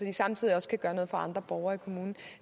de samtidig også kan gøre noget for andre borgere i kommunen